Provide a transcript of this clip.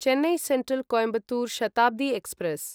Chennai central Coimbatore Shatabdi express